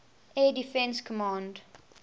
air defense command